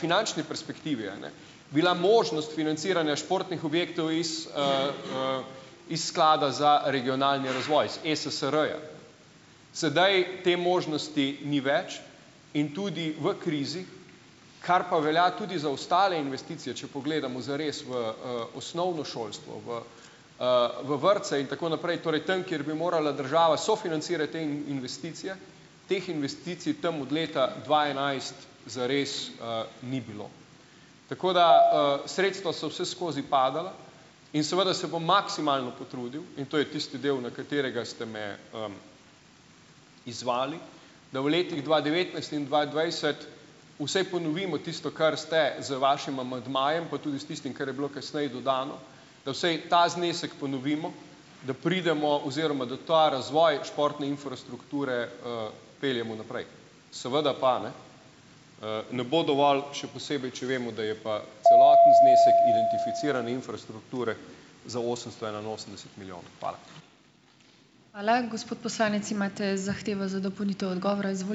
finančni perspektivi, a ne, bila možnost financiranja športnih objektov iz, iz sklada za regionalni razvoj iz ESSR-ja. Sedaj te možnosti ni več in tudi v krizi, kar pa velja tudi za ostale investicije, če pogledamo zares v, osnovno šolstvo, v, v vrtce in tako naprej, torej tam, kjer bi morala država sofinancirati te investicije, teh investicij tam od leta dva enajst zares, ni bilo. Tako da, sredstva so vseskozi padala in seveda se bom maksimalno potrudil, in to je tisti del, na katerega ste me, izzvali, da v letih dva devetnajst in dva dvajset vsej ponovimo tisto, kar ste z vašim amandmajem, pa tudi s tistim, kar je bilo kasneje dodano, da vsej ta znesek ponovimo, da pridemo oziroma da ta razvoj športne infrastrukture, peljemo naprej. Seveda pa, ne, ne bo dovolj, še posebej če vemo, da je pa celoten znesek identificirane infrastrukture za osemsto enainosemdeset milijonov. Hvala.